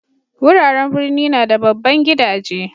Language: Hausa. Wuraren birni na da babban gidaje.